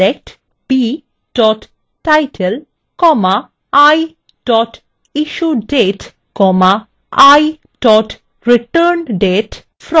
select b title i issuedate i returndate